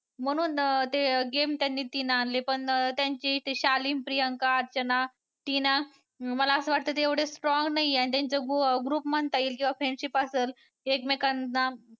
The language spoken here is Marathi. म्हणून ते game त्यांनी तीन आणले पण त्यांची ती शालीन प्रियांका, अर्चना टीना मला असं वाटतं ते एवढे strong नाही आणि त्यांच group म्हणता येईल किंवा friendship असल एकमेकांना